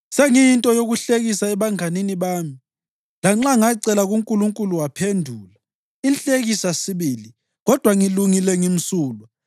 Sengiyinto yokuhlekisa ebanganini bami, lanxa ngacela kuNkulunkulu waphendula, inhlekisa sibili, kodwa ngilungile, ngimsulwa!